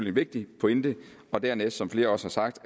en vigtig pointe og dernæst som flere også har sagt